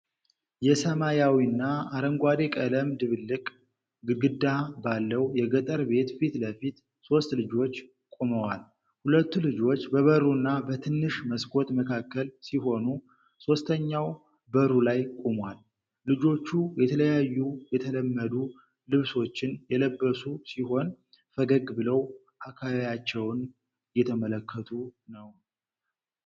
የሰማያዊና አረንጓዴ ቀለም ድብልቅ ግድግዳ ባለው የገጠር ቤት ፊት ለፊት ሦስት ልጆች ቆመዋል። ሁለቱ ልጆች በበሩና በትንሽ መስኮት መካከል ሲሆኑ፣ ሦስተኛው በሩ ላይ ቆሟል። ልጆቹ የተለያዩ የተለመዱ ልብሶችን የለበሱ ሲሆን፣ ፈገግ ብለው አካባቢያቸውን እየተመለከቱ ነው።